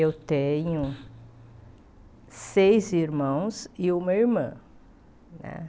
Eu tenho seis irmãos e uma irmã né.